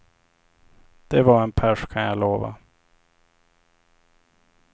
Det var en pärs kan jag lova.